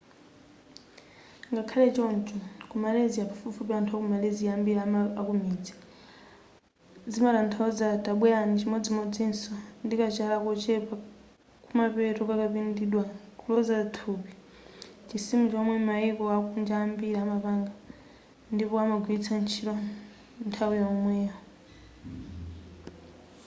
ngakhale choncho ku malysia pafupifupi anthu a ku malysia ambiri akumidzi zimatathauza tabwerani chimodzimodzinso ndikachala kochepa kumapeto kakapindidwa kuloza thupi chisimu chomwe mayiko akunja ambiri amapanga ndipo amagwilitsa ntchito nthawi yokhayi